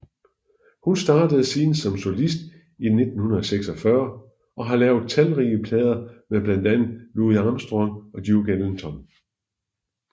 Hun startede siden som solist i 1946 og har lavet talrige plader med blandt andet Louis Armstrong og Duke Ellington